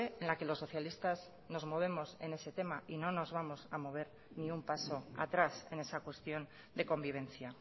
en la que los socialistas nos movemos en ese tema y no nos vamos a mover ni un paso atrás en esa cuestión de convivencia